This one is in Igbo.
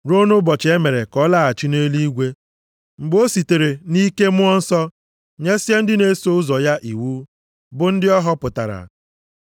ruo nʼụbọchị e mere ka ọ laghachi nʼeluigwe mgbe o sitere nʼike Mmụọ nsọ nyesịa ndị na-eso ụzọ ya iwu, bụ ndị ọ họpụtara.